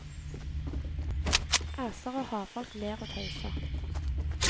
Æser og havfolk ler og tøyser.